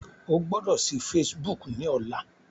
O gbọ́dọ̀ sí Facebook ní ọlá.